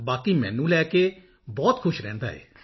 ਬਾਕੀ ਮੈਨੂੰ ਲੈ ਕੇ ਬਹੁਤ ਖੁਸ਼ ਰਹਿੰਦਾ ਹੈ